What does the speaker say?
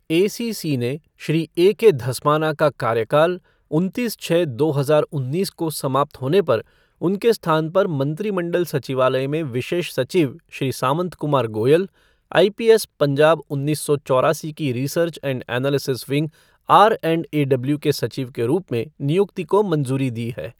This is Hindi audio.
एसीसी ने श्री ए के धस्माना का कार्यकाल उनतीस छः दो हजार उन्नीस को समाप्त होने पर उनके स्थान पर मंत्रिमंडल सचिवालय में विशेष सचिव श्री सामंत कुमार गोयल, आईपीएस पंजाब उन्नीस सो चौरासी की research and analysis wing R and A W के सचिव के रूप में नियुक्ति को मंजूरी दी हे।